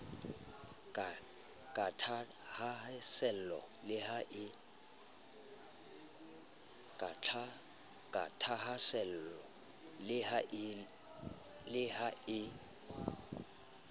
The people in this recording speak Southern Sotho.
ka thahaasello le ha e